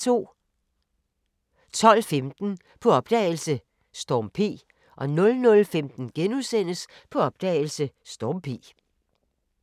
12:15: På opdagelse – Storm P 00:15: På opdagelse – Storm P *